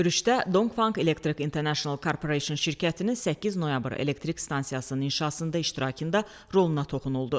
Görüşdə Donqfanq Elektrik International Corporation şirkətinin 8 noyabr elektrik stansiyasının inşasında iştirakında roluna toxunuldu.